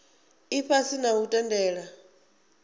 ifhasi na u ri tendela